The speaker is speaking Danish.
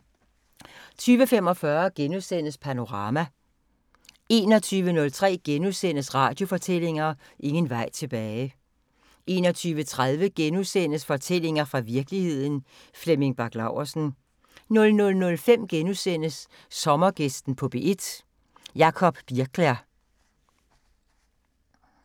20:45: Panorama * 21:03: Radiofortællinger: Ingen vej tilbage * 21:30: Fortællinger fra virkeligheden – Flemming Bach Laursen * 00:05: Sommergæsten på P1: Jacob Birkler *